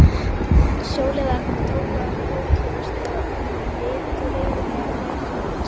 Sjóliðarnir tóku að ókyrrast og litu reiðilega hver til annars.